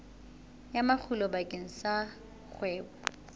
ya makgulo bakeng sa kgwebo